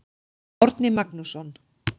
Árni Magnússon.